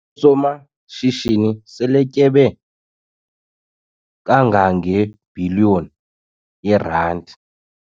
Usomashishini seletyebe kangangebhiliyoni yeerandi.